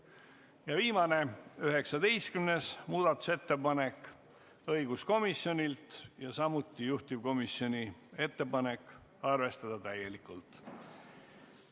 Ja viimane, 19. muudatusettepanek on samuti õiguskomisjonilt ja taas on juhtivkomisjoni ettepanek arvestada seda täielikult.